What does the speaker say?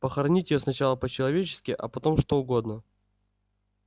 похоронить её сначала по-человечески а потом что угодно